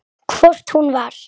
Hvort hún var!